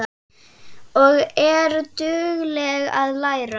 Og er dugleg að læra.